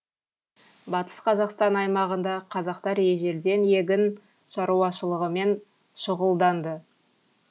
батыс қазақстан аймағында қазақтар ежелден егін шаруашылығымен шұғылданды